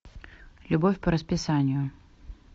любовь по расписанию